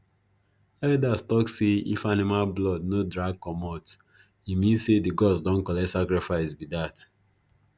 elders tok say if animal blood no drag comot e mean say the gods don collect sacrifice be dat